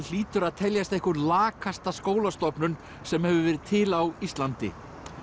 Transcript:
hlýtur að teljast einhver lakasta skólastofnun sem hefur verið til á Íslandi